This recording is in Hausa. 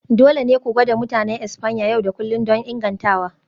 Dole ne ku gwada Mutanen Espanya yau da kullun don ingantawa.